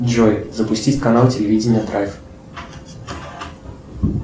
джой запустить канал телевидения драйв